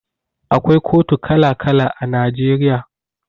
Akwai kotu kala kala a Najeriya